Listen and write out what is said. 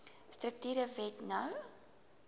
strukture wet no